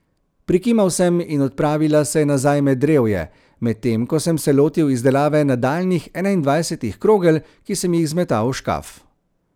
Prikimal sem in odpravila se je nazaj med drevje, medtem ko sem se lotil izdelave nadaljnjih enaindvajsetih krogel, ki sem jih zmetal v škaf.